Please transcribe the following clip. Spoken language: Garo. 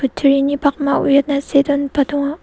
pakma uiatna see donba donga.